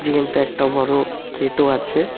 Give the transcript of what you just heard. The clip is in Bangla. কিন্তু একটা বড়ো গেটও আছে।